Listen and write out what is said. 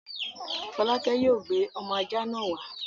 Folake yóò gbé ọmọ ajá náà wá!